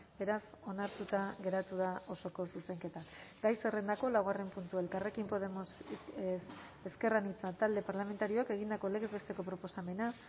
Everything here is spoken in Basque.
beraz onartuta geratu da osoko zuzenketa gai zerrendako laugarren puntua elkarrekin podemos ezker anitza talde parlamentarioak egindako legez besteko proposamena